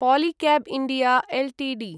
Polycab India Ltd